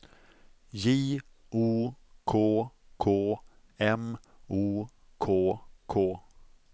J O K K M O K K